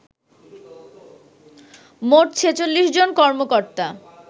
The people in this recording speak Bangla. মোট ৪৬ জন কর্মকর্তা